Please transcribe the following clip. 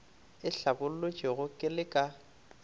e hlabolotšwego ke le ka